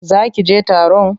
Za ki je taron?